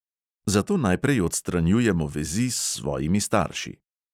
Zato najprej odstranjujemo vezi s svojimi starši.